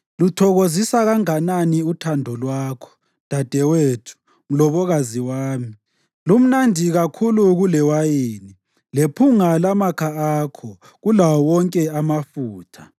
Luthokozisa kanganani uthando lwakho, dadewethu, mlobokazi wami! Lumnandi kakhulu kulewayini, lephunga lamakha akho kulawo wonke amafutha!